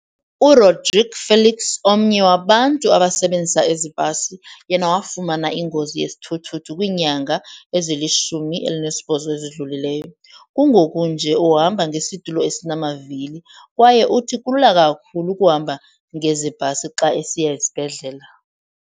URodrique Felix, omnye wabantu abasebenzisa ezi bhasi, yena wafumana ingozi yesithuthuthu kwiinyanga ezili-18 ezidlulileyo. Kungoku nje uhamba ngesitulo esinamavili kwaye uthi kulula kakhulu ukuhamba ngezi bhasi xa esiya esibhedlela.